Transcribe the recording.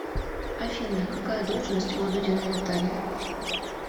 афина какая должность у дудиной натальи